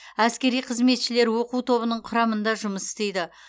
әскери қызметшілер оқу тобының құрамында жұмыс істейді